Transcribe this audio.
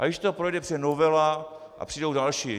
A když to projde, přijde novela a přijdou další.